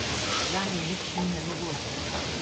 Zanje nič ni nemogoče.